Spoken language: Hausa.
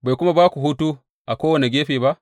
Bai kuma ba ku hutu a kowane gefe ba?